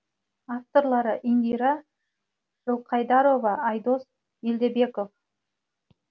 авторлары индира жылқайдарова айдос меделбеков